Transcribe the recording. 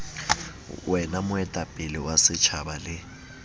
wena moetapele wa setjhaba le